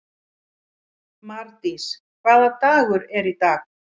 Mardís, hvaða dagur er í dag?